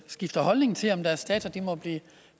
skifter holdning til om deres data må